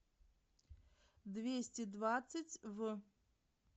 двести двадцать в